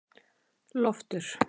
Loftur